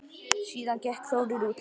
Síðan gekk Þórir út.